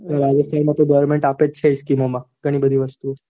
હા scheeme માં goverment અપેજ છે scheme માં